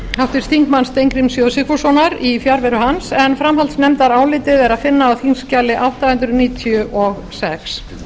háttvirtur þingmaður steingríms j sigfússonar í fjarveru hans en framhaldsnefndarálitið er að finna á þingskjali átta hundruð níutíu og sex